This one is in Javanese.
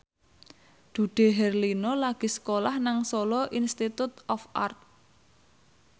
Dude Herlino lagi sekolah nang Solo Institute of Art